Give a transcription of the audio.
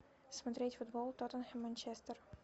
смотреть футбол тоттенхэм манчестер